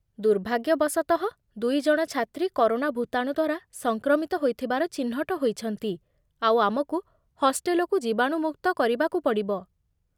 ଦୁର୍ଭାଗ୍ୟବଶତଃ, ଦୁଇଜଣ ଛାତ୍ରୀ କରୋନା ଭୁତାଣୁ ଦ୍ୱାରା ସଂକ୍ରମିତ ହୋଇଥିବାର ଚିହ୍ନଟ ହୋଇଛନ୍ତି, ଆଉ ଆମକୁ ହଷ୍ଟେଲକୁ ଜୀବାଣୁମୁକ୍ତ କରିବାକୁ ପଡ଼ିବ